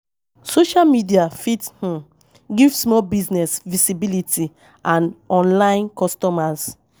Social media fit um give small business visibility and online customers